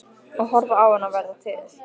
Og horfa á hana verða til.